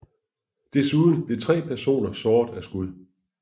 Desuden blev tre personer såret af skud